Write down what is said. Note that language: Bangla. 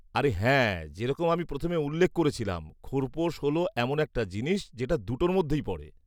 আরে হ্যাঁ, যেরকম আমি প্রথমে উল্লেখ করেছিলাম, খোরপোশ হল এমন একটা জিনিস, যেটা দুটোর মধ্যেই পড়ে।